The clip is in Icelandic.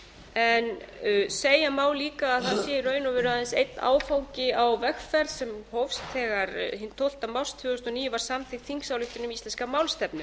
en segja má líka að það sé í raun og veru aðeins einn áfangi á vegferð sem hófst þegar hinn tólfta mars tvö þúsund og níu var samþykkt þingsályktun um íslenska málstefnu